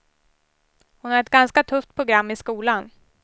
Hon har ett ganska tufft program i skolan.